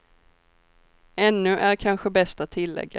Ännu, är kanske bäst att tilläga.